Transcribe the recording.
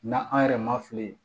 Na an yɛrɛ ma fili